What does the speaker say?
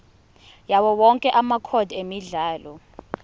yawowonke amacode emidlalo